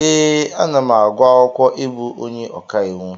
Ee, anam agụ akwụkwọ ịbụ onye ọkàiwu.